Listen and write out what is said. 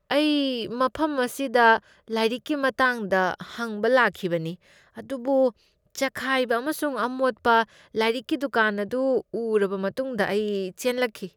ꯑꯩ ꯃꯐꯝ ꯑꯁꯤꯗ ꯂꯥꯏꯔꯤꯛ ꯑꯗꯨꯒꯤ ꯃꯇꯥꯡꯗ ꯍꯪꯕ ꯂꯥꯛꯈꯤꯕꯅꯤ ꯑꯗꯨꯕꯨ ꯆꯈꯥꯏꯕ ꯑꯃꯁꯨꯡ ꯑꯃꯣꯠꯄ ꯂꯥꯏꯔꯤꯛꯀꯤ ꯗꯨꯀꯥꯟ ꯑꯗꯨ ꯎꯔꯕ ꯃꯇꯨꯡꯗ ꯑꯩ ꯆꯦꯟꯂꯛꯈꯤ ꯫